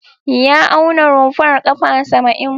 Ya auna rumfar ƙafa saba'in.